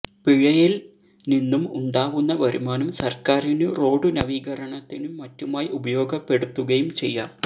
പിഴയില് നിന്നും ഉണ്ടാവുന്ന വരുമാനം സര്ക്കാരിനു റോഡു നവീകരണത്തിനും മറ്റുമായി ഉപയോഗപ്പെടുത്തുകയും ചെയ്യാം